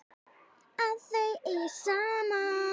Að þau eigi saman.